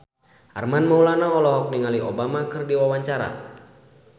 Armand Maulana olohok ningali Obama keur diwawancara